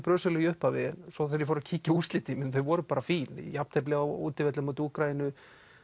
brösulega í upphafi svo þegar ég fór að kíkja á úrslitin þá voru þau bara fín jafntefli á útivelli á móti Úkraínu